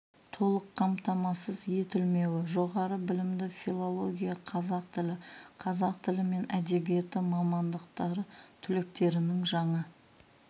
толық қамтамасыз етілмеуі жоғары білімді филология қазақ тілі қазақ тілі мен әдебиеті мамандықтары түлектерінің жаңа